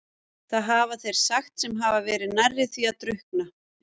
Það hafa þeir sagt sem hafa verið nærri því að drukkna.